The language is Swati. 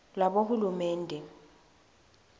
lwabohulumende